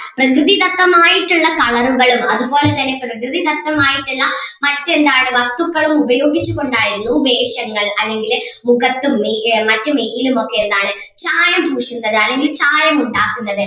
പ്രകൃതിദത്തമായിട്ടുള്ള colour കളും അതുപോലെ തന്നെ പ്രകൃതിദത്തമായിട്ടുള്ള മാറ്റ് എന്താണ് വസ്തുക്കളും ഉപയോഗിച്ച് കൊണ്ട് ആയിരുന്നു വേഷങ്ങൾ അല്ലെങ്കില് മുഖത്തും മെയ്യ് മറ്റു മെയ്യിലും ഒക്കെ എന്താണ് ചായം പൂശുന്നത് അല്ലെങ്കിൽ ചായം ഉണ്ടാക്കുന്നത്.